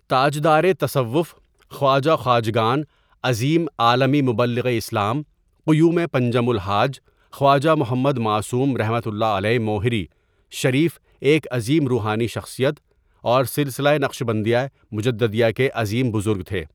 تاجدارِ تصوف خواجہ خواجگان عظیم عالمی مبلغِ اسلام قیومِ پنجم الحاج خواجہ محمد معصوم رحمة اللہ علیہ موہری شریف ایک عظیم روحانی شخصیت اور سلسلہ نقشبندیہ مجددیہ کے عظیم بزرگ تھے.